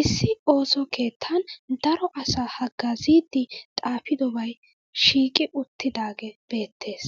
Issi ooso keettan daro asaa haggaaziiddi xaafidobay shiiqi uttidaagee beettes.